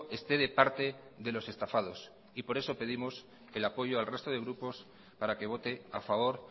esté de parte de los estafados y por eso pedimos el apoyo al resto de grupos para que vote a favor